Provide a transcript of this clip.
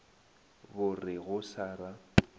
bo re go sa ra